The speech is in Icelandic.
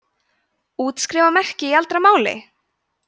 útskrifa merkti í eldra máli